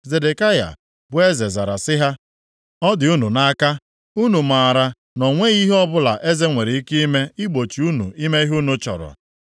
Zedekaya bụ eze zara sị ha, “Ọ dị unu nʼaka. Unu maara na o nweghị ihe ọbụla eze nwere ike ime igbochi unu ime ihe unu chọrọ.”